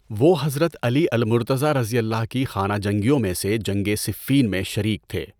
وہ حضرت Ali al-Murtaza کی خانہ جنگیوں میں سے جنگِ صِفِّین میں شریک تھے۔